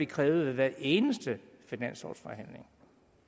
krævet ved hver eneste finanslovsforhandling